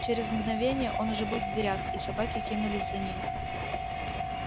через мгновение он уже был в дверях и собаки кинулись за ним